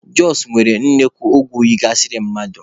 Jọsụ nwere nnukwu ugwu yigasịrị mmadụ